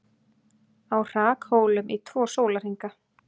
Á hrakhólum í tvo sólarhringa